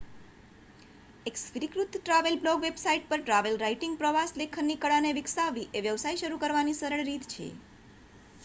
એક સ્વીકૃત travel blog website પર ટ્રાવેલ રાઇટિંગ/પ્રવાસ લેખનની કળા ને વિક્સવવી એ વ્યવસાય શરૂ કરવાની સરળ રીત છે